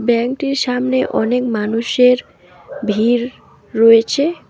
ব্যাংকটির সামনে অনেক মানুষের ভিড় রয়েছে।